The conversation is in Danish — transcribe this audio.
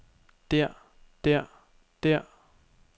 der der der